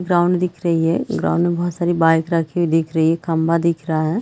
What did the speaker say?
Ground दिख रही है ग्राउंड में बहुत सारी बाइक रखी हुई दिख रही है खम्भा दिख रहा है।